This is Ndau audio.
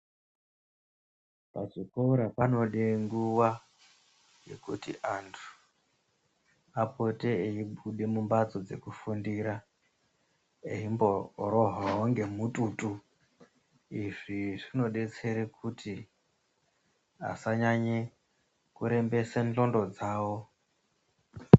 Pazvikora panode nguwa yekuti vantu vapote veibude mumbatso dzekufundira eimborohwawo ngemututu izvi zvinodetsera kuti vantu vanyanye kurembesa ndxondo dzavo .